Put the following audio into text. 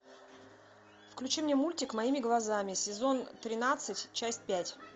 включи мне мультик моими глазами сезон тринадцать часть пять